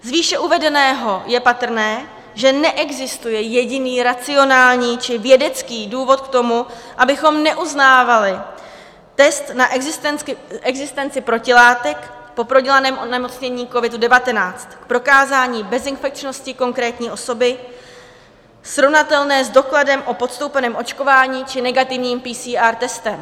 Z výše uvedeného je patrné, že neexistuje jediný racionální či vědecký důvod k tomu, abychom neuznávali test na existenci protilátek po prodělaném onemocnění COVID-19, prokázání bezinfekčnosti konkrétní osoby srovnatelné s dokladem o podstoupeném očkování či negativním PCR testem.